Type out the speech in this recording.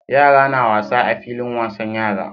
Yara na wasa a filin wasan yara